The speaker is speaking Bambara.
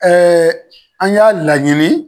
an y'a laɲini.